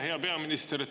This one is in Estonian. Hea peaminister!